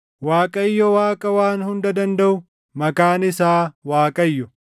Waaqayyo Waaqa Waan Hunda Dandaʼu, maqaan isaa Waaqayyo!